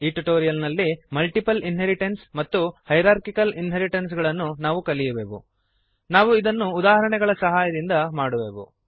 ಈ ಟ್ಯುಟೋರಿಯಲ್ ನಲ್ಲಿ multiple inheritance ಮತ್ತು ಹೈರಾರ್ಕಿಕಲ್ ಇನ್ಹೆರಿಟೆನ್ಸ್ ಗಳನ್ನು ನಾವು ಕಲಿಯುವೆವು ನಾವು ಇದನ್ನು ಉದಾಹರಣೆಗಳ ಸಹಾಯದಿಂದ ಮಾಡುವೆವು